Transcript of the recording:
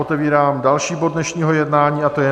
Otevírám další bod dnešního jednání, a to je